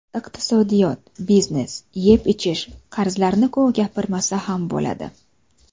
Iqtisodiyot, biznes, yeb-ichish, qarzlarni-ku gapirmasa ham bo‘ladi.